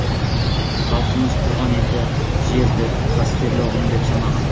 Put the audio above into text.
халқымыз туған елді жерді қастерлі ұғым деп санаған